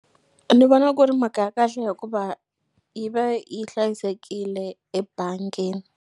Ni vona ku ri mhaka ya kahle hikuva yi va yi hlayisekile ebangini.